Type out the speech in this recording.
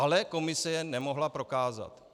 Ale komise je nemohla prokázat.